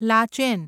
Lachen